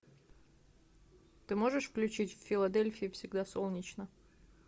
ты можешь включить в филадельфии всегда солнечно